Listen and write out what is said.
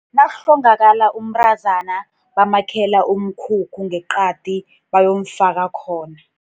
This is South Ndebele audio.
Nakuhlongakala umntazana, bamakhela umkhukhu ngeqadi, bayomfaka khona.